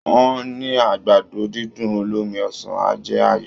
Wọ́n ní àgbàdo-dídùn olómi ọsàn á jẹ́ ààyò